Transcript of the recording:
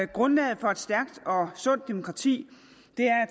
grundlaget for et stærkt og sundt demokrati